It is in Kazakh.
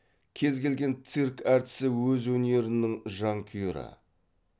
кез келген цирк әртісі өз өнерінің жанкүйері